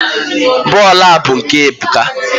bọọlụ a bụ nke Ebuka.